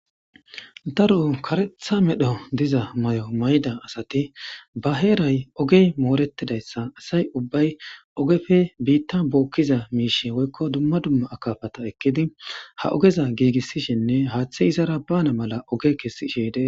Daro kareeththa medho diza may'o mayda asati ba heeray ogey moorettidayssa asay ubbay ogefe biitta bookkiza miish woykko dumma dumma akafata ekkidi ha ogeza giigissishinne haaththe izara bana mala oge kessishshe dettees